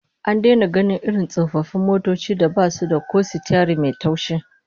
An daina gainin irin tsofaffin motocin da basu da ko sitiyari mai taushi